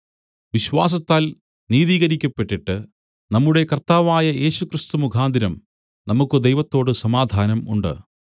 വിശ്വാസത്താൽ നീതീകരിക്കപ്പെട്ടിട്ട് നമ്മുടെ കർത്താവായ യേശുക്രിസ്തു മുഖാന്തരം നമുക്കു ദൈവത്തോടു സമാധാനം ഉണ്ട്